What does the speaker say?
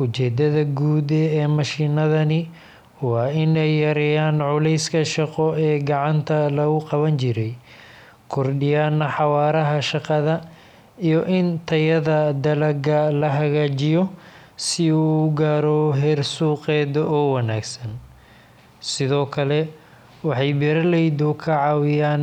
Ujeeddada guud ee mashiinnadani waa in ay yareeyaan culayska shaqo ee gacanta lagu qaban jiray, kordhiyaan xawaaraha shaqada, iyo in tayada dalagga la hagaajiyo si uu u gaaro heer suuqeed oo wanaagsan. Sidoo kale, waxay beeraleyda ka caawiyaan in ay kaydsadaan.